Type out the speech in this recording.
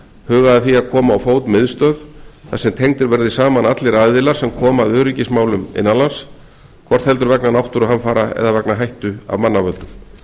hugað að því að koma á fót miðstöð þar sem tengdir verði saman allir aðilar sem koma að öryggismálum innanlands hvort heldur vegna náttúruhamfara eða vegna hættu af mannavöldum